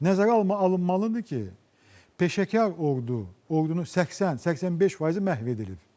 Nəzərə alınmalıdır ki, peşəkar ordu, ordunun 80-85 faizi məhv edilib.